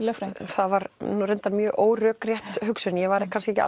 það var nú reyndar mjög órökrétt hugsun ég var kannski ekki